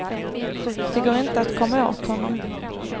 Det går inte att att komma åt honom.